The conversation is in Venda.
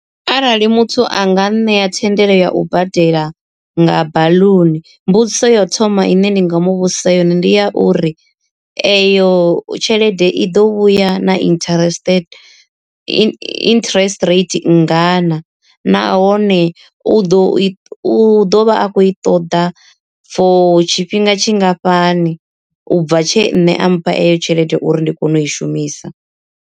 Arali muthu a nga nṋea thendelo ya u badela nga baḽuni mbudziso ya u thoma ine ni nga mu vhudzisa yone ndi ya uri, eyo tshelede i ḓo vhuya na interest interest rate nngana, nahone u ḓo i u ḓovha a khou i ṱoḓa for tshifhinga tshingafhani ubva tshe nṋe a mpha eyo tshelede uri ndi kone u i shumisa.